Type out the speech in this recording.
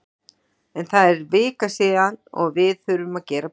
En það er vika síðan og við þurfum að gera betur.